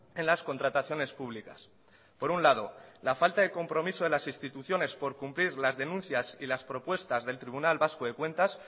en las contrataciones públicas por un lado la falta de compromiso de las instituciones por cumplir las denuncias y las propuestas del tribunal vasco de cuentas